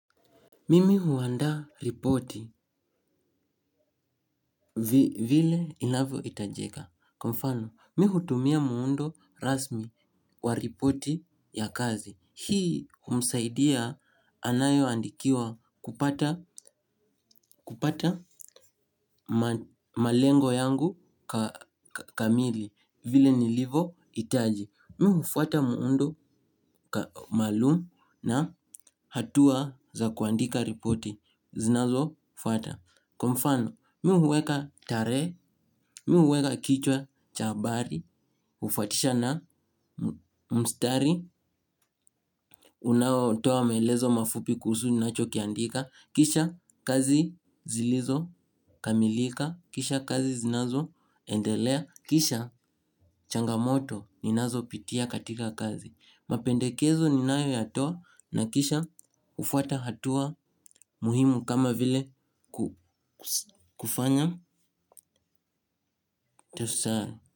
Mimi huandaa ripoti vile inavyo hitajeka. Kwa mfano, mi hutumia muundo rasmi wa ripoti ya kazi. Hii humsaidia anayeandikiwa kupata malengo yangu kamili vile nilivohitaji. Mimi hufuata muundo maalum na hatua za kuandika ripoti zinazofuata. Kwa mfano, mimi hueka tarehe, mimi hueka kichwa cha habari, hufuatisha na mstari, unaotoa maelezo mafupi kuhusu ninachokiandika, kisha kazi zilizo kamilika, kisha kazi zinazoendelea, kisha changamoto ninazopitia katika kazi. Mapendekezo ninayoyatoa na kisha hufuata hatua muhimu kama vile kufanya tesa.